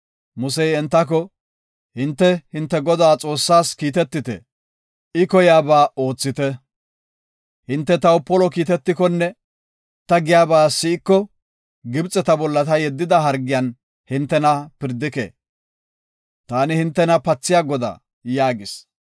Musey entako, “Hinte hinte Godaa Xoossaas kiitetite; I koyaba oothite. Hinte taw polo kiitetikonne ta giyaba si7iko Gibxeta bolla ta yeddida hargiyan hintena pirdike. Taani hintena pathiya Godaa” yaagis.